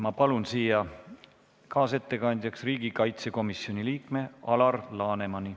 Ma palun siia kaasettekandjaks riigikaitsekomisjoni liikme Alar Lanemani.